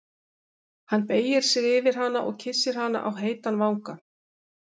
Hann beygir sig yfir hana og kyssir hana á heitan vanga.